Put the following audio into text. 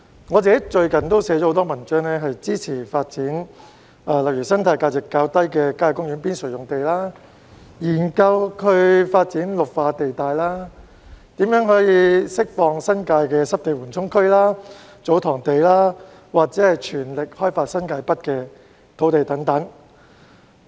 我最近撰寫了很多文章，內容包括支持發展生態價值較低的郊野公園邊陲用地、研究發展綠化地帶、怎樣釋放新界的濕地緩衝區和"祖堂地"，以及全力開發新界北的土地等。